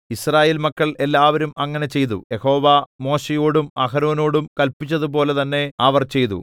യിസ്രായേൽ മക്കൾ എല്ലാവരും അങ്ങനെ ചെയ്തു യഹോവ മോശെയോടും അഹരോനോടും കല്പിച്ചതുപോലെ തന്നെ അവർ ചെയ്തു